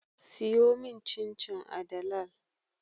Siyomin cin cin a dalal